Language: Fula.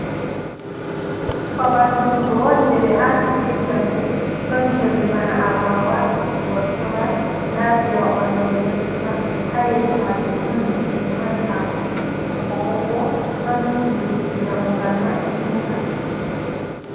Babal durugo on je ɓe aati be jamɗe. Ɗon colli bana agwagwa, gortogal, nda mbewa ɓalewol ɗon dura, haa yeeso maajum ɗon leɗɗeji mari haako ɓokko-ɓokko, ɗon suudu dammugal maɓɓitingal.